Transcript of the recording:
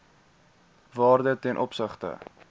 waarde ten opsigte